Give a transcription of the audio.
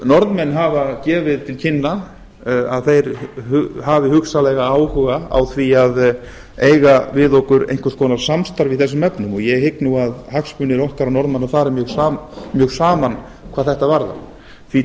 norðmenn hafa gefið til kynna að þeir hafi hugsanlega áhuga á því að eiga við okkur einhvers konar samstarf í þessum efnum og ég hygg að hagsmunir okkar og norðmanna fari mjög saman hvað þetta varðar því tel